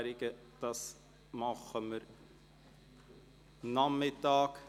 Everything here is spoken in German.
Zu diesen kommen wir am Nachmittag.